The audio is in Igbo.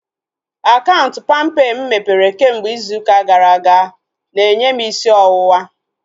Akaụntụ palmpay mụ mepere kemgbe izu ụka gara aga na-enye m isi ọwụwa